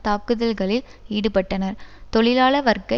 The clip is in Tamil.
தாக்குதல்களில் ஈடுபட்டனர் தொழிலாள வர்க்க